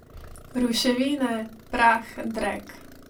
Ruševine, prah, drek.